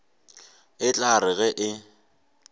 e tla re ge e